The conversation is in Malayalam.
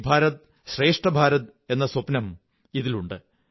ഏക്ക് ഭാരത് ശ്രേഷ്ഠ ഭാരത് എന്ന സ്വപ്നം ഇതിലുണ്ട്